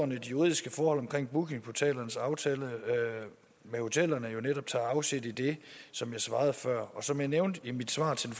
de juridiske forhold omkring bookingportalernes aftale med hotellerne netop tager afsæt i det som jeg svarede før og som jeg nævnte i mit svar til